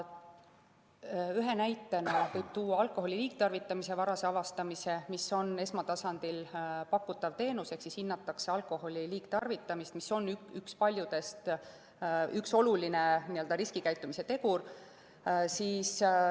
Ühe näitena võib tuua alkoholi liigtarvitamise varase avastamise, mis on esmatasandil pakutav teenus, ehk hinnatakse alkoholi liigtarvitamist, mis on üks olulistest riskikäitumise teguritest.